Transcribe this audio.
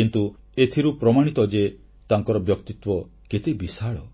କିନ୍ତୁ ଏଥିରୁ ପ୍ରମାଣିତ ଯେ ତାଙ୍କର ବ୍ୟକ୍ତିତ୍ୱ କେତେ ବିଶାଳ